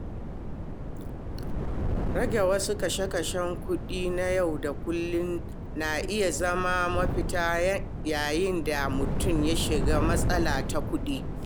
Rage wasu kashe-kashen kuɗi na yau da kullum na iya zama mafita yayin da mutum ya shiga matsalar kuɗi.